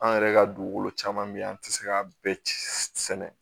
An yɛrɛ ka dugukolo caman bɛ yen an tɛ se k'a bɛɛ sɛnɛ